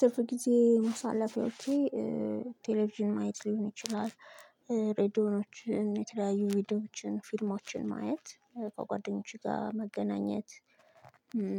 ትርፍ ጊዜን ማሳለፊያወቼ ቴሌቪዥን ማየት ሊሆን ይችላል። ሬድዮኖችን የተለያዩ ቪዲዮዎችን ፊልሞችን ማየት ከጓደኞቼ ጋር መገናኘት።